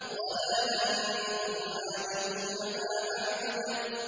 وَلَا أَنتُمْ عَابِدُونَ مَا أَعْبُدُ